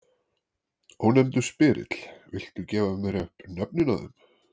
Ónefndur spyrill: Viltu gefa mér upp nöfnin á þeim?